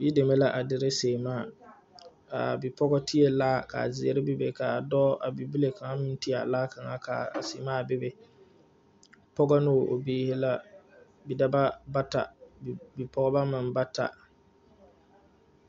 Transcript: Yideme la a dire sèèmaa aa bipɔgɔ tiee laa ka zeɛre bebe kaa dɔɔ a bibile kaŋ meŋ ti a laa kaŋa ka a sèèmaa bebe pɔgɔ neŋ o biire la bidɔbɔ bata bipɔɔbɔ meŋ bata.